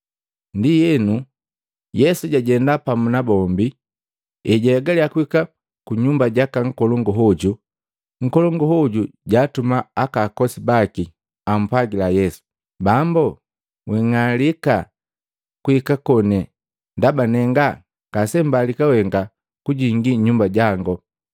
Ndienu, Yesu jajenda pamu na bombi. Ejahegalya kuhika kunyumba jaka nkolongu hoju, nkolongu hoju jaatuma akakosi baki ampwagila Yesu, “Bambu, wing'alika kuika koni, ndaba nenga ngasembalika wenga kujingi nnyumba jango.